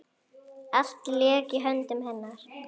Allt lék í höndum hennar.